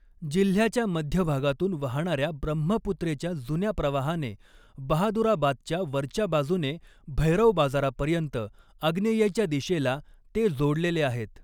जिल्ह्याच्या मध्यभागातून वाहणाऱ्या ब्रह्मपुत्रेच्या जुन्या प्रवाहाने बहादुराबादच्या वरच्या बाजूने भैरव बाजारापर्यंत आग्नेयेच्या दिशेला ते जोडलेले आहेत.